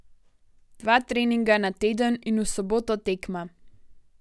Dva treninga ne teden in v soboto tekma.